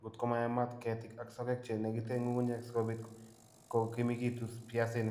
Ngot koma yaamaat keetiig ak sogeek che negiten ng'ung'unyek, si kobiit kogimegitu piasinik.